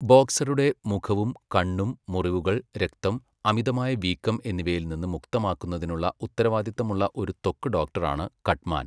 ബോക്സറുടെ മുഖവും കണ്ണും മുറിവുകൾ, രക്തം, അമിതമായ വീക്കം എന്നിവയിൽ നിന്ന് മുക്തമാക്കുന്നതിനുള്ള ഉത്തരവാദിത്തമുള്ള ഒരു ത്വക്ക് ഡോക്ടറാണ് കട്ട്മാൻ.